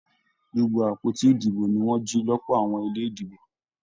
Gbogbo àpótí ìdìbò ní wọn jì lọpọ àwọn ilé ìdìbò.